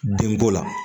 Denko la